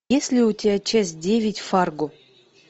есть ли у тебя часть девять фарго